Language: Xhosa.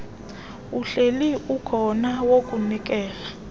uhleli ukhona wokunikeza